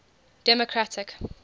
democratic